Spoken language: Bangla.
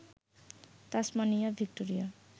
Tasmania, Victoria